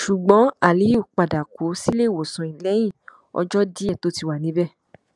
ṣùgbọn aliu padà kú síléìwòsàn lẹyìn ọjọ díẹ tó ti wà níbẹ